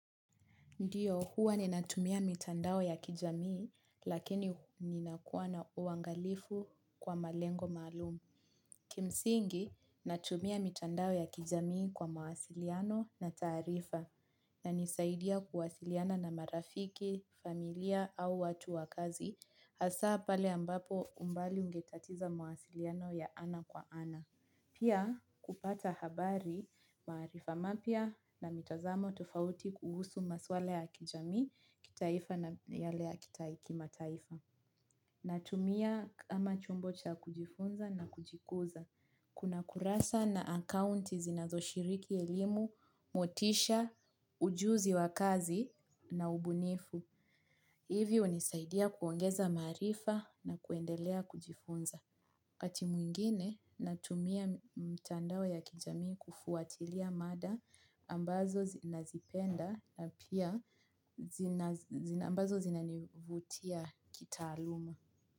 Ndiyo, huwa ninatumia mitandao ya kijamii, lakini ninakuwa na uangalifu kwa malengo maalumu. Kimsingi natumia mitandao ya kijamii kwa mawasiliano na taarifa na nisaidia kuwasiliana na marafiki, familia au watu wa kazi, hasa pale ambapo umbali ungetatiza mawasiliano ya ana kwa ana. Pia kupata habari maarifa mapya na mitazamo tofauti kuhusu maswala ya kijamii kitaifa na yale ya kimataifa. Natumia kama chombo cha kujifunza na kujikuza. Kuna kurasa na akaunti zinazoshiriki elimu, motisha, ujuzi wa kazi na ubunifu. Hivyo unisaidia kuongeza maarifa na kuendelea kujifunza. Wakati mwingine natumia mtandao ya kijamii kufuatilia mada ambazo zinazipenda na pia ambazo zinanivutia kitaaluma.